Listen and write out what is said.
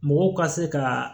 Mɔgɔw ka se ka